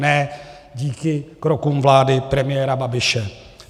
Ne díky krokům vlády premiéra Babiše.